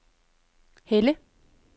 Helle